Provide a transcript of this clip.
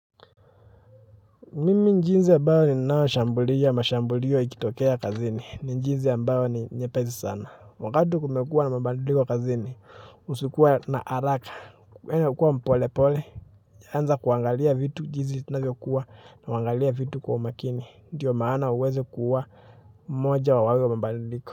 Mimi jinsi ambayo ninao shambulia mashambulio yakitokea kazini. Ni jinsi ambayo ni nyepesi sana. Wakati kumekuwa na mabadiliko kazini, usikuwe na haraka, kwenye kuwa mpolepole, sianze kuangalia vitu jinsi inavyo kuwa na wangalia vitu kwa makini. Ndiyo maana uweze kuwa moja wa wao mabadiliko.